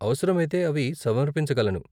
అవసరమైతే అవి సమర్పించగలను.